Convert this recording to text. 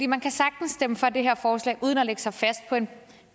man kan sagtens stemme for det her forslag uden at lægge sig fast på en